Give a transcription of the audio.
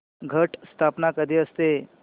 घट स्थापना कधी असते